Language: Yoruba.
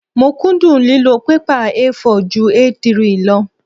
Mo kúndùn lílo pẹ́pà A4 ju A3 lọ.